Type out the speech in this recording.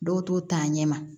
Dɔw t'o ta ɲɛma